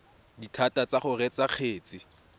dithata tsa go reetsa kgetse